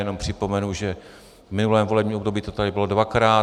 Jenom připomenu, že v minulém volebním období to tady bylo dvakrát.